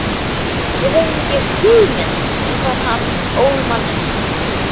Við höfðum ekki hugmynd um hvar hann ól manninn.